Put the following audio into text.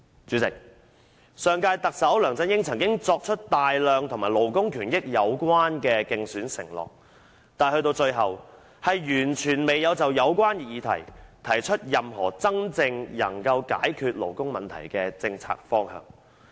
"主席，上屆特首梁振英曾經作出大量與勞工權益有關的競選承諾，但最終完全未有就有關議題提出任何真正能夠解決勞工問題的政策方向。